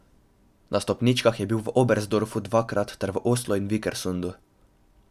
Na stopničkah je bil v Oberstdorfu dvakrat ter v Oslu in Vikersundu.